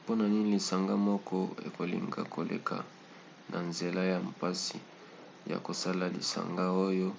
mpona nini lisanga moko ekolinga koleka na nzela ya mpasi ya kosala lisanga oyo